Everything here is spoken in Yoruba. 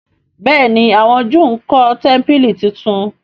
béèni àwọn júù nkó tẹmpili títún.